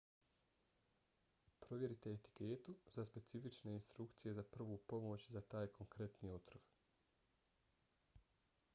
provjerite etiketu za specifične instrukcije za prvu pomoć za taj konkretni otrov